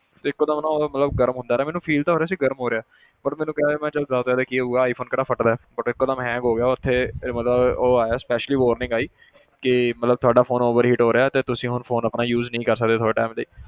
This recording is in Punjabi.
ਤੇ ਇੱਕੋ ਦਮ ਨਾ ਉਹ ਮਤਲਬ ਗਰਮ ਹੁੰਦਾ ਰਿਹਾ ਮੈਨੂੰ feel ਤਾਂ ਹੋ ਰਿਹਾ ਸੀ ਗਰਮ ਹੋ ਰਿਹਾ but ਮੈਂ ਕਿਹਾ ਮੈਂ ਕਿਹਾ ਜ਼ਿਆਦਾ ਤੋਂ ਜ਼ਿਆਦਾ ਕੀ ਹੋਊਗਾ iphone ਕਿਹੜਾ ਫਟਦਾ ਹੈ but ਇੱਕੋ ਦਮ hang ਹੋ ਗਿਆ ਉੱਥੇ ਇਹ ਮਤਲਬ ਉਹ ਆਇਆ specially warning ਆਈ ਕਿ ਮਤਲਬ ਤੁਹਾਡਾ phone overheat ਹੋ ਰਿਹਾ ਤੇ ਤੁਸੀਂ ਹੁਣ phone ਆਪਣਾ use ਨਹੀਂ ਕਰ ਸਕਦੇ ਥੋੜ੍ਹੇ time ਲਈ